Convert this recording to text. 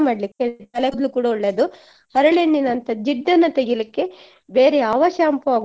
ತಲೆ ಕೂದ್ಲಿಗೆ ಕೂಡ ಒಳ್ಳೇದು ಹರಳೆಣ್ಣೆನಂತ ಜಿಡ್ಡನ್ನ ತೆಗಿಲಿಕ್ಕೆ ಬೇರೆ ಯಾವ shampoo ಆಗುದಿಲ್ಲ